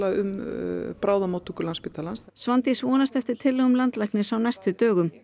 um bráðamóttöku Landspítalans Svandís vonast eftir tillögum landlæknis á næstu dögum